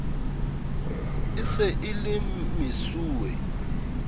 e se e le mesuwe